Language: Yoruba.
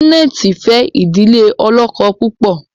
Janet fe idile olókó púpọ.